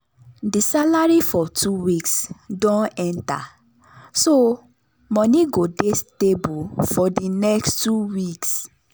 the salary for two weeks don enter so money go dey stable for di next two weeks.